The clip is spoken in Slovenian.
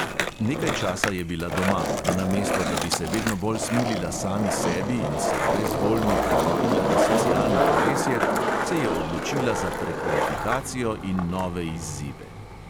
Nekaj časa je bila doma, a namesto da bi se vedno bolj smilila sami sebi in se brezvoljno priklopila na socialno kolesje, se je odločila za prekvalifikacijo in nove izzive.